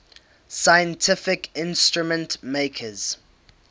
scientific instrument makers